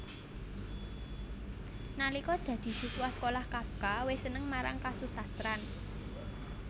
Nalika dadi siswa sekolah Kafka wis seneng marang kasusastran